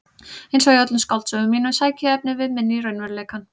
Einsog í öllum skáldsögum mínum sæki ég efnivið minn í raunveruleikann.